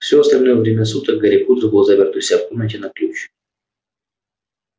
все остальное время суток гарри поттер был заперт у себя в комнате на ключ